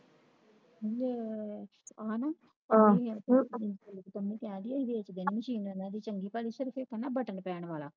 ਵੇਚ ਹਣਾ ਪੰਮੀ ਕਹਿ ਰਹੀ ਆ ਕੇ ਵੇਚ ਦੇਣੀ Mechine ਉਹਨਾਂ ਦੀ ਚੰਗੀ ਭਲੀ ਸ਼ਰੀਫ ਇੱਕ ਬਟਨ ਪੈਣ ਵਾਲਾ